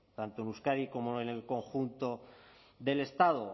tanto en euskadi como en el conjunto del estado